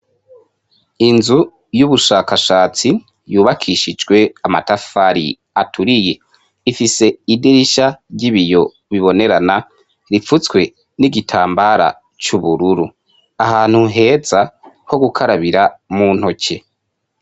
inzu y'ubushakashatsi yubakishijwe amatafari aturiye ifise idirisha ry'ibiyo bibonerana ripfutswe n'igitambara c'ubururu ahantu heza ho gukarabira mu ntoke